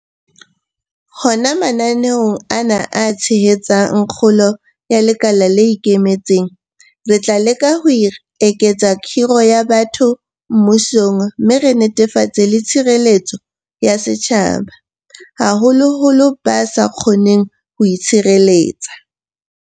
Hona mananeong ana a tshehetsang kgolo ya lekala le ikemetseng, re tla leka ho eketsa kgiro ya batho mmusong mme re netefatse le tshireletso ya setjhaba, haholoholo ba sa kgoneng ho itshireletsa.